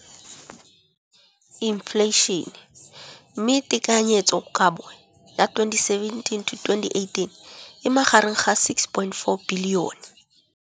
Infleišene, mme tekanyetsokabo ya 2017, 18, e magareng ga R6.4 bilione.